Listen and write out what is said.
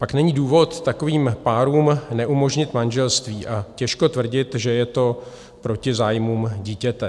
Pak není důvod takovým párům neumožnit manželství a těžko tvrdit, že je to proti zájmům dítěte.